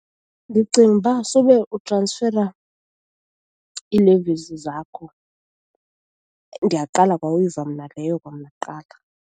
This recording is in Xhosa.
Ndicinga uba sube utransfera ii-levies zakho, ndiyaqala kwa uyiva mna leyo kwamna kuqala.